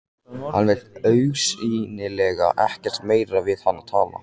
Hann vill augsýnilega ekkert meira við hana tala.